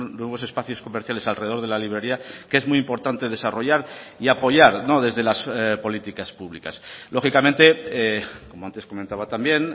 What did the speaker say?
nuevos espacios comerciales alrededor de la librería que es muy importante desarrollar y apoyar desde las políticas públicas lógicamente como antes comentaba también